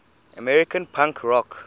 american punk rock